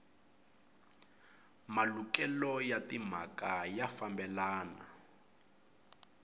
malukelo ya timhaka ya fambelana